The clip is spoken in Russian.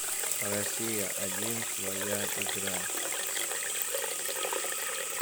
россия один своя игра